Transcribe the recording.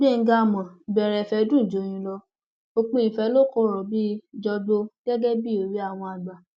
gbẹngà àmọ ìbẹrẹ ìfẹ dùn joyin lo òpin ìfẹ lọ kọrọ bíi jọgbó gẹgẹ bíi òwe àwọn àgbà